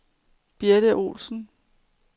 Birthe Olesen